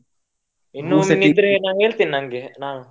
ಇನ್ನು ಮಿನಿ ಇದ್ರೆ ನಾನ್ ಹೇಳ್ತೇನೆ ನಾನು ನನ್ಗೆ ನಾ.